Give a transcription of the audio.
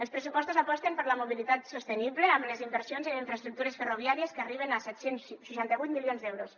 els pressupostos aposten per la mobilitat sostenible amb les inversions en infraestructures ferroviàries que arriben a set cents i seixanta vuit milions d’euros